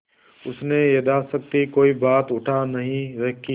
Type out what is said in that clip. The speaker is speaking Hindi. उसने यथाशक्ति कोई बात उठा नहीं रखी